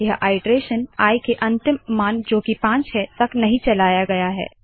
यह iteration i के अंतिम मान जो की पाँच है तक नहीं चलाया गया है